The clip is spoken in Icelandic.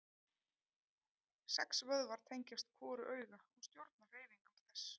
Sex vöðvar tengjast hvoru auga og stjórna hreyfingum þess.